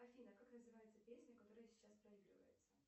афина как называется песня которая сейчас проигрывается